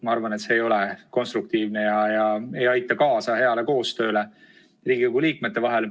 Ma arvan, et see ei ole konstruktiivne ega aita kaasa heale koostööle Riigikogu liikmete vahel.